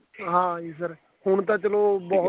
ਹਾਂ ਜੀ ਫੇਰ ਹੁਣ ਤਾਂ ਚਲੋ ਬਹੁਤ